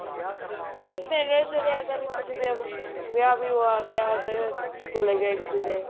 ਨੇੜੇ ਥੇੜੇ ਅਗ਼ਰ ਕਿਸੇ ਦੇ ਵਿਆਹ ਵਿਹੁ ਆਗਿਆ ਉਹਦੇ ਚਲੇ ਗਏ ਕਿਸੇ ਦੇ